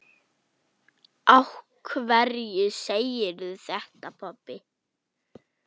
Af hverju segirðu þetta, pabbi?